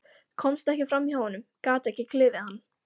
Komst ekki fram hjá honum, gat ekki klifið hann.